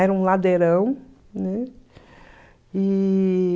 Era um ladeirão, né? E...